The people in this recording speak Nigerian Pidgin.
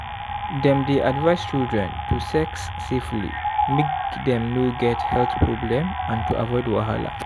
dem dey advice children to sex safely make dem no get health problem and to avoid wahala.